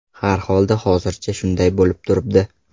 Har xolda hozircha shunday bo‘lib turibdi.